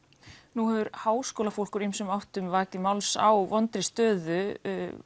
nú hefur háskólafólk úr ýmsum áttum vakið máls á vondri stöðu